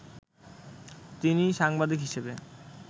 তিনি সাংবাদিক হিসেবে